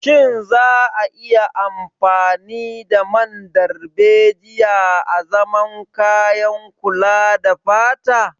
Shin za a iya amfani da man darbejiya azaman kayan kula da fata.